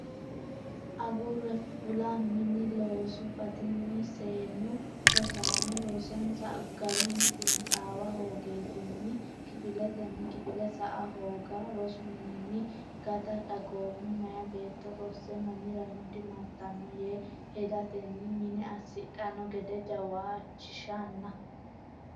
agure fula mine loosu batinyinni seennu rosaano rosonsa garunni xiinaxaawa hoogatenni kifiletenni kifile sa a hooga rosu mininni gata dagoomu meyaa beetto rosse mamirano dimartanno yee hedatenni mine assidhanno gede jawaachishanna.